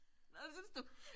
Nåh det synes du?